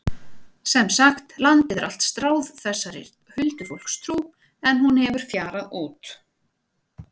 Sem sagt, landið er allt stráð þessari huldufólkstrú en hún hefur fjarað út.